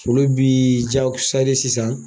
Olu biii jago sari sisan.